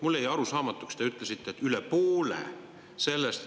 Mulle jäi arusaamatuks see: te ütlesite, et üle poole sellest …